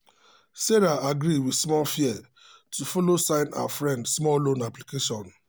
sarah agree with small fear to follow sign her friend small business loan application.